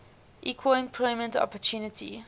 equal employment opportunity